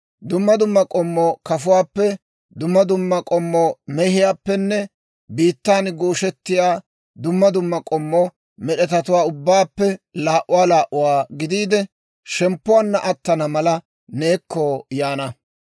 Dumma dumma k'ommo kafuwaappe, dumma dumma k'ommo mehiyaappenne biittaana gooshettiyaa dumma dumma k'ommo med'etatuwaa ubbaappe laa"uwaa laa"uwaa gidiide, shemppuwaanna attana mala neekko yaana.